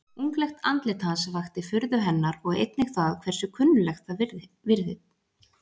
Unglegt andlit hans vakti furðu hennar og einnig það hversu kunnuglegt það virtist.